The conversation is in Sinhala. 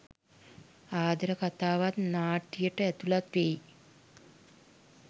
ආදර කතාවත් නාට්‍යයට ඇතුළත් වේ.